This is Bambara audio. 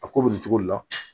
A ko bɛ nin cogo de la